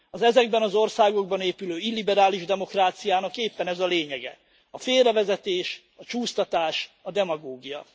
Az ezekben az országokban épülő illiberális demokráciának éppen ez a lényege a félrevezetés, a csúsztatás, a demagógia.